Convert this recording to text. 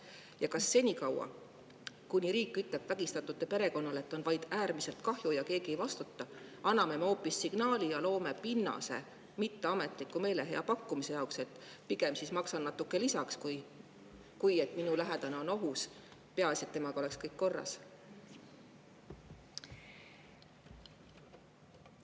Ja kas senikaua, kuni riik ütleb vägistatute perekonnale, et on vaid äärmiselt kahju ja keegi ei vastuta, anname me hoopis signaali ja loome pinnase mitteametliku meelehea pakkumise jaoks, et pigem siis maksan natuke lisaks, kui et minu lähedane on ohus, peaasi, et temaga oleks kõik korras?